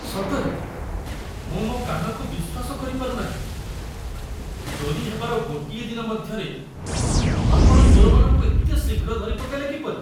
ସତରେ! ମୁଁ ମୋ କାନକୁ ବିଶ୍ୱାସ କରିପାରୁ ନାହିଁ। ଚୋରି ହେବାର ଗୋଟିଏ ଦିନ ମଧ୍ୟରେ ଆପଣ ଚୋରମାନଙ୍କୁ ଏତେ ଶୀଘ୍ର ଧରିପକାଇଲେ କିପରି?